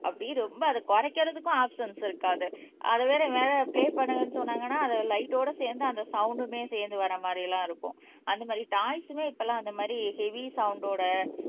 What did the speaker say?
அப்படியே ரொம்ப அதை குறைக்கிறதுக்கும் ஆப்ஷன்ஸ் இருக்காது அது வேற பிலே பண்ணுங்கன்னு சொன்னாங்கன்னா அது லைட்டோட சேர்ந்து அந்த சவுண்ட்மே சேர்ந்து வர்ற மாதிரி எல்லாம் இருக்கும் அந்த மாதிரி டாய்ஸ்மே இப்பெல்லாம் அந்த மாதிரி ஹெவி சவுண்ட்டோட